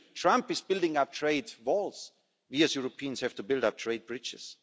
when Trump is building up trade walls, we as Europeans have to build up trade bridges.